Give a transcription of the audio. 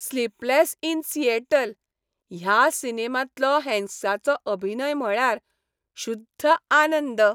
"Sleepless in Seattle" ह्या सिनेमांतलो हॅन्क्सचो अभिनय म्हळ्यार शुद्ध आनंद .